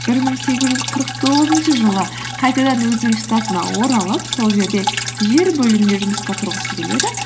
бір мың сегіз жүз қырық тоғызыншы жылы қайтадан өзінің штатына оралып сол жерде жер бөліміне жұмысқа тұрғысы келеді